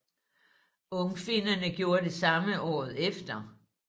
Ungfinnerne gjorde det samme året efter